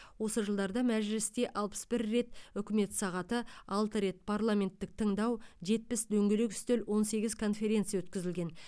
осы жылдарда мәжілісте алпыс бір рет үкімет сағаты алты рет парламенттік тыңдау жетпіс дөңгелек үстел он сегіз конференция өткізілген